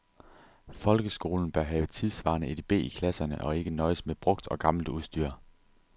Folkeskolen bør have tidssvarende edb i klasserne og ikke nøjes med brugt og gammelt udstyr.